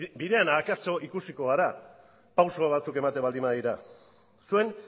akaso ikusiko gara pauso batzuk ematen baldin badira zuen